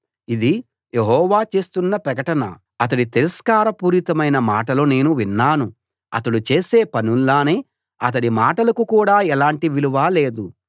ఇది యెహోవా చేస్తున్న ప్రకటన అతడి తిరస్కార పూరితమైన మాటలు నేను విన్నాను అతడు చేసే పనుల్లానే అతడి మాటలకు కూడా ఎలాంటి విలువా లేదు